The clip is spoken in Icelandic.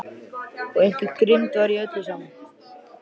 Og einhver grimmd var í öllu saman.